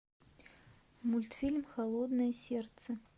мультфильм холодное сердце